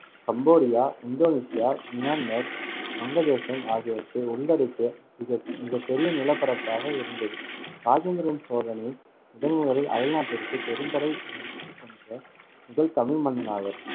Cambodia, Indonesia, Myanmar, வங்கதேசம் ஆகியவற்றை உள்ளடக்கிய மிக~ மிகப்பெரிய நிலப்பரப்பாக இருந்தது. இராஜேந்திர சோழனே முதன் முதலில் அயல்நாட்டிற்குப் பெரும் படை எடுத்துச் சென்ற முதல் தமிழ் மன்னன் ஆவர்.